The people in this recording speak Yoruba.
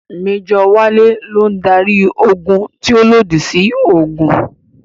Mẹ́jọ̀ Wálé ló ń darí ogun tí ó lòdì sí òògùn